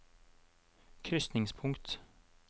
krysningspunkt